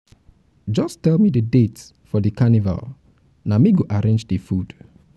just tell me the date for di carnival na me go arrange di food.